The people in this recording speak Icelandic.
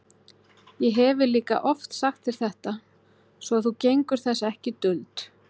Ég hefi líka oft sagt þér þetta, svo að þú gengur þess ekki duld.